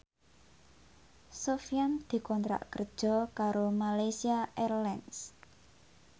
Sofyan dikontrak kerja karo Malaysia Airlines